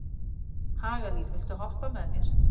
Hagalín, viltu hoppa með mér?